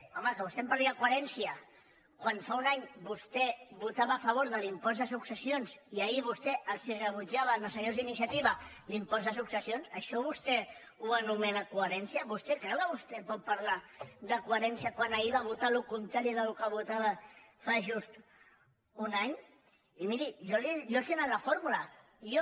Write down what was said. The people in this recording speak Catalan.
home que vostè em parli de coherència quan fa un any vostè votava a favor de l’impost de successi·ons i ahir vostè els rebutjava als senyors d’iniciativa l’impost de successions això vostè ho anomena co·herència vostè creu que vostè pot parlar de cohe·rència quan ahir va votar el contrari del que votava fa just un any i miri jo els he donat la fórmula jo